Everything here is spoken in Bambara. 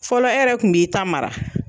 Fɔlɔ e yɛrɛ kun b'i ta mara